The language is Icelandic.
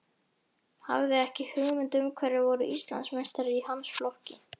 Hafði ekki hugmynd um hverjir voru Íslandsmeistarar í hans flokki.